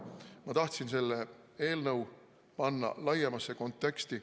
Ma tahtsin panna selle eelnõu laiemasse konteksti.